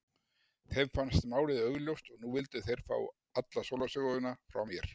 Þeim fannst málið augljóst og nú vildu þeir fá alla sólarsöguna frá mér.